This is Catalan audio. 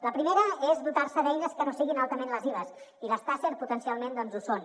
la primera és dotar se d’eines que no siguin altament lesives i les taser potencialment ho són